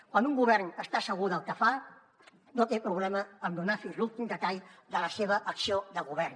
quan un govern està segur del que fa no té problema en donar fins a l’últim detall de la seva acció de govern